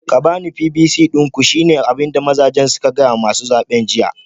Ku bani pvc din ku shine abinda mazajen suka fada wa masu zabe jiya